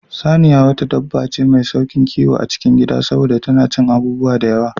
Saniya wata dabba ce mai sauƙin kiwo a cikin Gida saboda tana cin abubuwa da yawa